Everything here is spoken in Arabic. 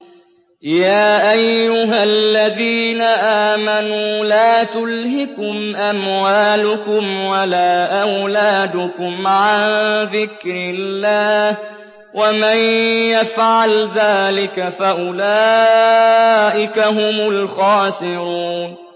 يَا أَيُّهَا الَّذِينَ آمَنُوا لَا تُلْهِكُمْ أَمْوَالُكُمْ وَلَا أَوْلَادُكُمْ عَن ذِكْرِ اللَّهِ ۚ وَمَن يَفْعَلْ ذَٰلِكَ فَأُولَٰئِكَ هُمُ الْخَاسِرُونَ